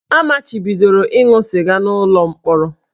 A machibidoro ịṅụ sịga n'ụlọ mkpọrọ